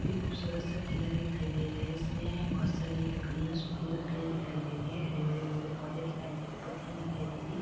एक खूबसूरत सा किला दिखाई दे रहा है इसमें बहुत सारी लकड़ियाँ सुखी लकड़ियाँ दिखाई दे रही हैं हरे-भरे पेड़- पोधे दिखाई दे रहे हैं पत्तियां दिखाई दे रही--